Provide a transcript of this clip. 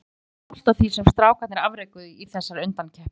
Ég er ótrúlega stoltur af því sem strákarnir afrekuðu í þessari undankeppni.